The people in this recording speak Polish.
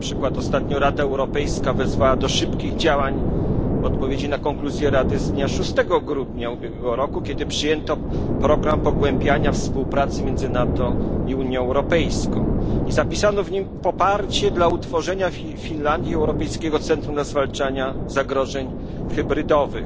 Na przykład ostatnio Rada Europejska wezwała do szybkich działań w odpowiedzi na konkluzje Rady z dnia 6 grudnia ubiegłego roku, kiedy przyjęto program pogłębiania współpracy między NATO i Unią Europejską i zapisano w nim poparcie dla utworzenia w Finlandii Europejskiego Centrum Zwalczania Zagrożeń Hybrydowych.